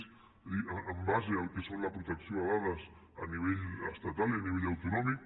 vull dir en base al que és la protecció de dades a nivell estatal i a nivell autonòmic